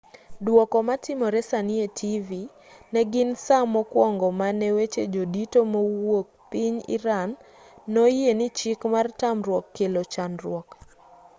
duoko ma timore sani e tivi negin saa mokuongo ma ne weche jodito mawuok piny iran no oyie ni chik mar tamruok kelo chandruok